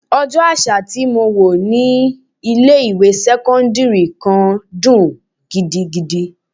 Ọjọ́ àṣà tí mo wò ní ilé ìwé sẹ́cọ́ndírì kan dùn gidigidi.